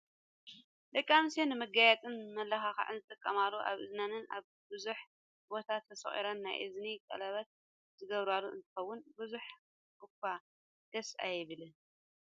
ደቂ ኣንስትዮ ንመጋየፅን መመላክዕን ዝጥቀማሉ ኣብ እዝነን ኣብ ቡዙሕ ቦታ ተሰቁረን ናይ እዝኒ ቀሌበት ዝገብራሉ እንትከውን፣ ብዙሕ እኳ ደስ ኣይብልን።